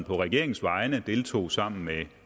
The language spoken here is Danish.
regeringens vegne deltog sammen med